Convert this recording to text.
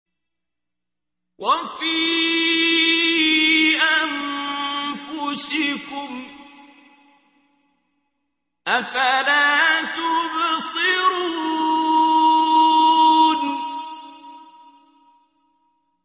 وَفِي أَنفُسِكُمْ ۚ أَفَلَا تُبْصِرُونَ